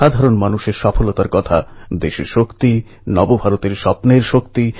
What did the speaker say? কিন্তু সর্দার সাহেব তো সর্দার সাহেব